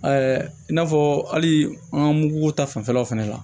i n'a fɔ hali an ka mugu ta fanfɛla fɛnɛ la